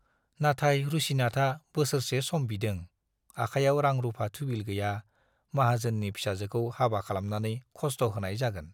नाथाय रुसिनाथआ बोसोरसे सम बिदों - आखायाव रां-रुफा थुबिल गैया, माहाजोननि फिसाजोखौ हाबा खालामनानै खस्थ' होनाय जागोन।